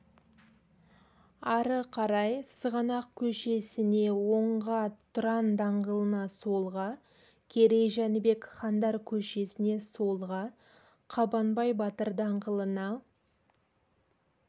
ары қарай сығанақ көшесіне оңға тұран даңғылына солға керей-жәнібек хандар көшесіне солға қабанбай батыр даңғылына